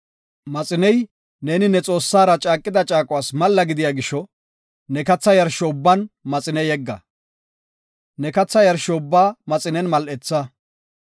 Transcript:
Maxiney, neeni ne Xoossara caaqida caaquwas malla gidiya gisho ne katha yarsho ubban maxine yegga. Ne katha yarsho ubbaa maxinen mal7etha.